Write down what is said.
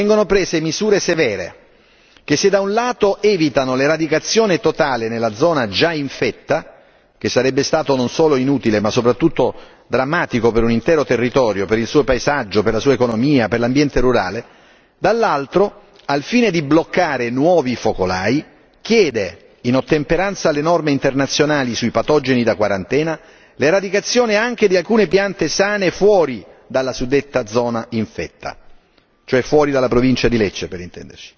Nella decisione della Commissione, inoltre, vengono prese misure severe che, se da un lato evitano l'eradicazione totale nella zona già infetta, che sarebbe stata non solo inutile, ma soprattutto drammatica per un intero territorio, per il suo paesaggio, la sua economia e l'ambiente rurale, dall'altro, al fine di bloccare nuovi focolai, chiede, in ottemperanza alle norme internazionali sui patogeni da quarantena, l'eradicazione anche di alcune piante sane fuori dalla suddetta zona infetta